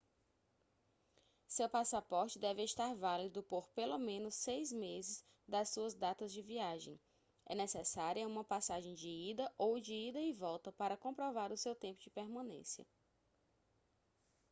seu passaporte deve estar válido por pelo menos 6 meses das suas datas de viagem é necessária uma passagem de ida ou de ida e volta para comprovar o seu tempo de permanência